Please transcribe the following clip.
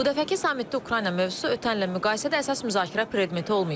Bu dəfəki sammitdə Ukrayna mövzusu ötən illə müqayisədə əsas müzakirə predmeti olmayıb.